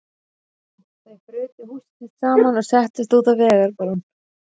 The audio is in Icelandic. Þau brutu húsið sitt saman og settust út á vegarbrún.